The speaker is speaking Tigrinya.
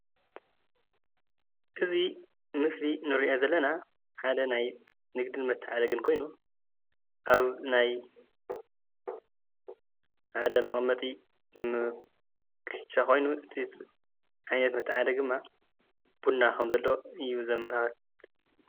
እዚ ምስሊ እንሪኦ ዘለና ሓደ ናይ ንግድን መተዓዳደግን ኾይኑ ኣብ ናይ ሓደ መቀመጢ ኽሻ ኾይኑ እዚ ዓይነት መተዓዳደጊ ድማ ቡና ኽምዘሎ እዩ ዘመላኽት።